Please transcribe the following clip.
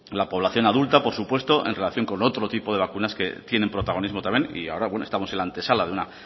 la población adulta por supuesto en relación con otro tipo de vacunas que tienen protagonismo también y ahora estamos en la antesala de la